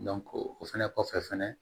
o fɛnɛ kɔfɛ fɛnɛ